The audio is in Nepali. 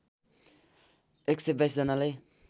१२२ जनालाई